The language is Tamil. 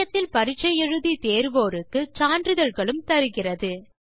இணையத்தில் பரிட்சை எழுதி தேர்வோருக்கு சான்றிதழ்களும் தருகிறது